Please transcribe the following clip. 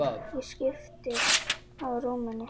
Ég skipti á rúminu.